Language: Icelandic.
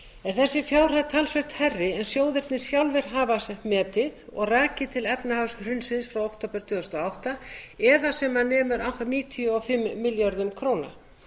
þessi fjárhæð er talsvert hærri en sjóðirnir sjálfir hafa metið og rakið til efnahagshrunsins í október tvö þúsund og átta eða sem nemur allt að níutíu og fimm milljörðum króna